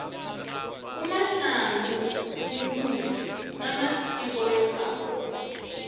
umahlangu mumuntu namasiko wekhabo